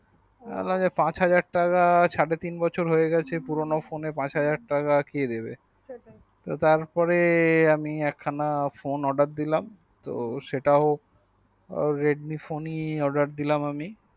আবার পাঁচ হাজার টাকা সাড়ে তিন বছর হয়ে গেছে পুরোনো phone এ পাঁচ হাজার টাকা কে দেবে তারপর এ আমি এক খানা phone অর্ডার দিলাম তো সেটাও রেডমি phone ই অর্ডার দিলাম আমি